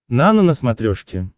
нано на смотрешке